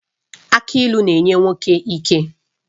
Aki ịlụ na-enye nwoke ike